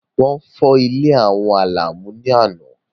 Wọ́n fọ́ ilé àwọn Àlàmú ní àná.